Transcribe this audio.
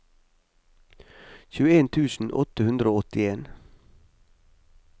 tjueen tusen åtte hundre og åttien